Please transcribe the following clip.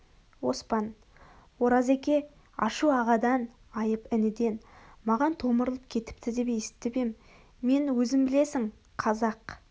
оспан оразеке ашу ағадан айып ініден маған томырылып кетіпті деп есітіп ем мен өзің білесің қазақ